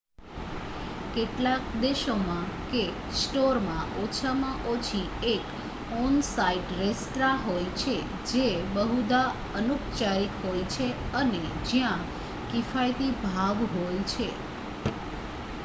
કેટલાક દેશોમાં કે સ્ટોરમાં ઓછામાં ઓછી એક ઑન-સાઇટ રેસ્ત્રાં હોય છે જે બહુધા અનુપચારિક હોય છે અને જ્યાં કિફાયતી ભાવ હોય છે